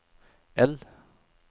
L